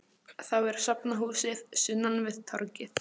Þá er safnahúsið sunnan við torgið.